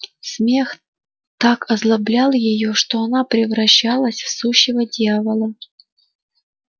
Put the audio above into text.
смех так озлоблял её что она превращалась в сущего дьявола